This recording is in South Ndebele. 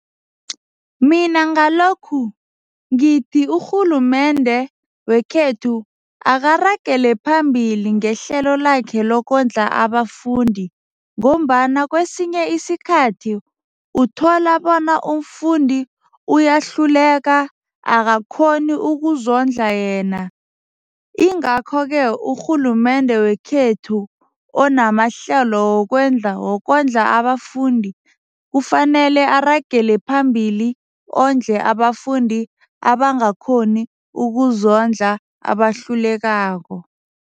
Mina ngalokhu ngithi urhulumende wekhethu akaragele phambili ngehlelo lakhe lokondla abafundi ngombana kwesinye isikhathi uthola bona umfundi uyahluleka, akakghoni ukuzondla yena ingakho-ke urhulumende wekhethu onamahlelo wokondla abafundi kufanele aragele phambili ondle abafundi abangakhoni ukuzondla, abahlulekako.